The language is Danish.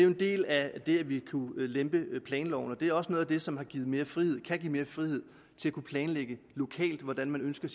en del af at vi kunne lempe planloven og det er også noget af det som har givet mere frihed og kan give mere frihed til at kunne planlægge lokalt hvordan man ønsker